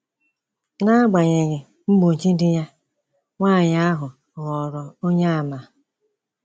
N’agbanyeghị mgbochi di ya, nwanyị ahụ ghọrọ Onyeàmà.